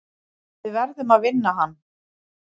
Við verðum að vinna hann.